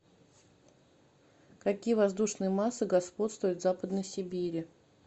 какие воздушные массы господствуют в западной сибири